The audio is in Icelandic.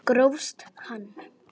Grófst hann!